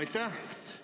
Aitäh!